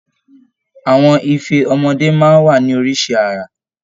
Àwọn ife ọmọdé máa ń wá ní oríṣi àrà